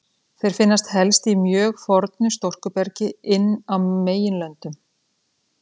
Þeir finnast helst í mjög fornu storkubergi inn á meginlöndum.